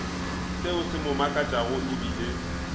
seo se mo makatšago ebile